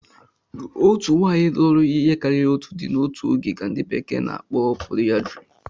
Otu nwanyị lụrụ ihe karịrị otu di n'otu oge ka ndi bekee n'akpo polyandry